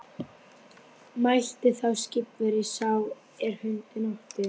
Mælti þá skipverji sá er hundinn átti: